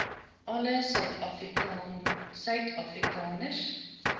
alle suid afrikaners